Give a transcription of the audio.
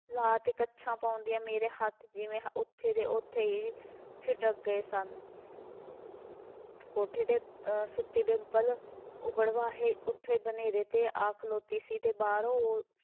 ਲਾ ਅਤੇ ਕੱਛਾਂ ਪਾਉਂਦੀਆਂ ਮੇਰੇ ਹੱਥ ਜਿਵੇਂ ਉੱਥੇ ਦੇ ਉੱਥੇ ਹੀ ਠਿਠਕ ਗਏ ਸਨ ਕੋਠੇ 'ਤੇ ਅਹ ਸੁੱਤੀ ਡਿੰਪਲ ਉੱਬੜ ਵਾਹੇ ਉੇੱਥੇ ਬਨੇਰੇ 'ਤੇ ਆ ਖਲੋਤੀ ਸੀ ਅਤੇ ਬਾਹਰੋਂ